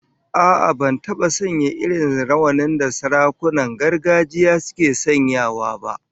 A'a, ban taba sanya irin rawanin da sarakunan gargajiya suke sanyawa ba